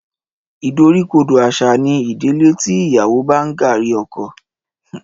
Ìdoríkodò àṣà ni ìdílé tí ìyàwó bá ń gààrí ọkọ.